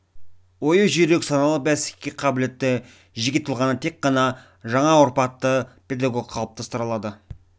ойы жүйрік саналы бәсекеге қабілетті жеке тұлғаны тек ғана жаңа тұрпатты педагог қалыптастыра алады